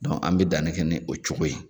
Dɔn an bɛ danni kɛ ni o cogo ye.